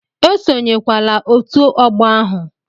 Esonyewala otu ọgbọ ahụ!